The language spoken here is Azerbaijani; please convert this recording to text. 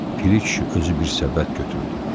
Piri kişi özü bir səbət götürdü.